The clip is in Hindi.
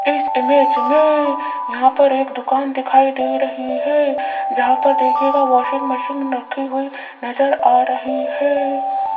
इस इमेज में यहां पर एक दुकान दिखाई दे रही है जहां पर देखिएगा वाशिंग मशीन रखी हुई नजर आ रही है।